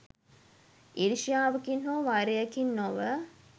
ඊර්ෂ්‍යාවකින් හෝ වෛරයකින් නොව